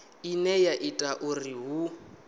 ine ya ita uri hu